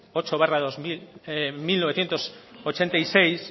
ocho barra mil novecientos ochenta y seis